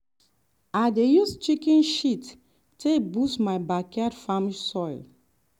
i dey use chicken shit take boost my backyard farm soil.